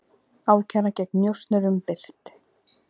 Ákæra gegn njósnurum birt